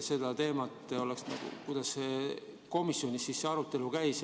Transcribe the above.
Seda oleks huvitav teada, kuidas komisjonis see arutelu käis.